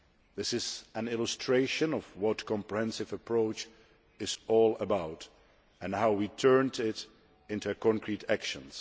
This is an illustration of what a comprehensive approach is all about and how we turned it into concrete actions.